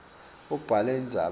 ubhale indzaba ibe